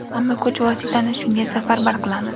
Hamma kuch-vositani shunga safarbar qilamiz.